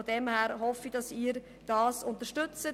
Daher hoffe ich, dass Sie dies unterstützen.